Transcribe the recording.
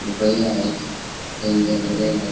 पपई आहेत कायतरी धरलेलय वर--